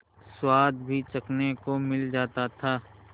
स्वाद भी चखने को मिल जाता था